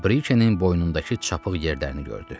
Və Brikeyin boynundakı çapıq yerlərini gördü.